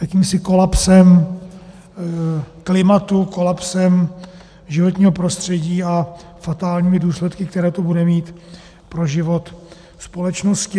Jakýmsi kolapsem klimatu, kolapsem životního prostředí a fatálními důsledky, které to bude mít pro život společnosti.